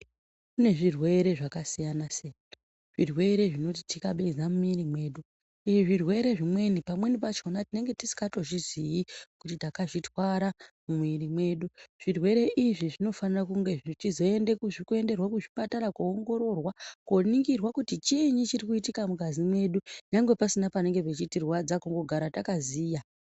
Kune zvirwere zvakasiyana siyana , zvirwere zvinotitikabeza mumwiri medu izvi zvirwere zvimweni pamweni pachona tinenge tisingatozvizii kuti takazvitwara mumwiri medu. Zvirwere izvi zvinofanira kunge zvichizoende-enderwe kuzvipatara kuongororwa koningirwa kuti chiinyi chirikuitika mungazi mwedu nyangwe pasina panenge pechitirwadza kungogara takaziya.